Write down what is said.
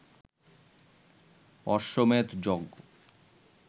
অশ্বমেধ যজ্ঞ